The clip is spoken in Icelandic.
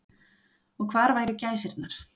Og hvar væru gæsirnar.